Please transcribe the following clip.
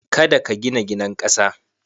Kada ka gina gidan ƙasa.